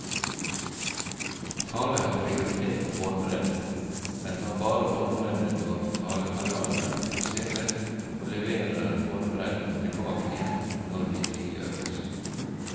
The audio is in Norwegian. Tale har prioritet på båndbredde, men tar bare båndbredde når talekanalene aktiviseres, og leverer båndbredden tilbake igjen når de frigjøres.